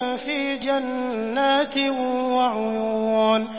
فِي جَنَّاتٍ وَعُيُونٍ